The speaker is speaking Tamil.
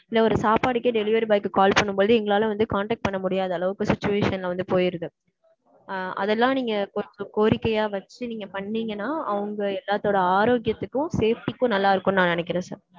இல்ல ஒரு சாப்பாடுக்கே delivery boy க்கு call பண்ணும்போது எங்களால வந்து contact பண்ண முடியாத அளவுக்கு situation ல வந்து போய்ருது. அதெல்லாம் வந்து கோரிக்கையா வச்சு நீங்க பண்ணீங்கனா அது எல்லாரோட ஆரோக்கியத்துக்கும் safety க்கும் நல்லா இருக்கும்னு நா நெனைக்கிறேன்.